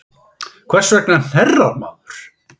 Hvers vegna hnerrar maður?